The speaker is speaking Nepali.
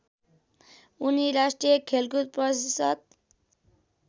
उनी राष्ट्रिय खेलकुद परिषद्